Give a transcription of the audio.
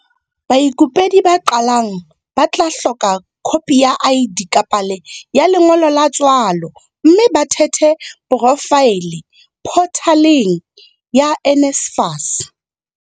Baikopedi ba qalang ba tla hloka khopi ya ID kapa le ya lengolo la tswalo mme ba thehe porofaele photaleng ya NSFAS.